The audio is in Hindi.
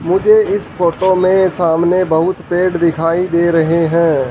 मुझे इस फोटो में सामने बहुत पेड़ दिखाई दे रहे हैं।